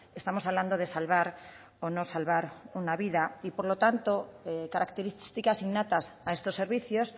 estamos hablando de salvar o no salvar una vida y por lo tanto características innatas a estos servicios